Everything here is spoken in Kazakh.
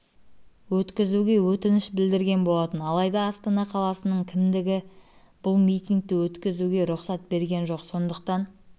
өткізуге өтініш білдірген болатын алайда астана қаласының кімдігі бұл митингті өткізуге рұқсат берген жоқ сондықтан